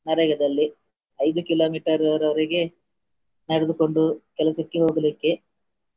ನರೇಗಾದಲ್ಲಿ ಐದು kilometer ವರೆಗೆ ನಡೆದುಕೊಂಡು ಕೆಲಸಕ್ಕೆ ಹೋಗ್ಲಿಕ್ಕೆ.